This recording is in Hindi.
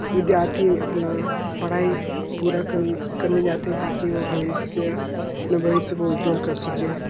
विद्यार्थी अपना पढ़ाई पूरा करने करने जाते है ताकि वो भविष्य जो भविष्य को उज्ज्वल कर सकें --